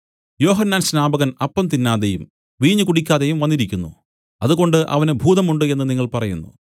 യോഹന്നാൻ സ്നാപകൻ അപ്പം തിന്നാതെയും വീഞ്ഞ് കുടിക്കാതെയും വന്നിരിക്കുന്നു അതുകൊണ്ട് അവന് ഭൂതം ഉണ്ട് എന്നു നിങ്ങൾ പറയുന്നു